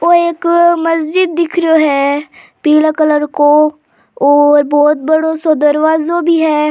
ओ एक मस्जिद दिख रियो है पीला कलर को और बहुत बड़ाे सो दरवाजो भी है।